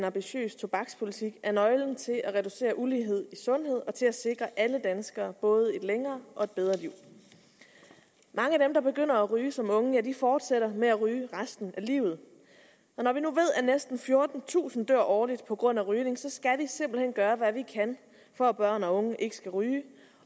ambitiøs tobakspolitik er nøglen til at reducere ulighed i sundhed og til at sikre alle danskere både et længere og bedre liv mange af dem der begynder at ryge som unge ja de fortsætter med at ryge resten af livet og når vi nu ved at næsten fjortentusind dør årligt på grund af rygning så skal vi simpelt hen gøre hvad vi kan for at børn og unge ikke skal ryge